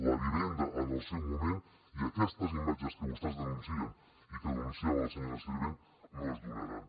la vivenda en el seu moment i aquestes imatges que vostès denuncien i que denunciava la senyora sirvent no es donaran